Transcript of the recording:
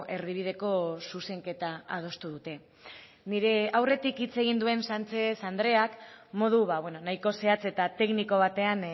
erdibideko zuzenketa adostu dute nire aurretik hitz egin duen sánchez andreak modu nahiko zehatz eta tekniko batean